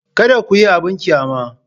Kada ku yi abin ƙyama.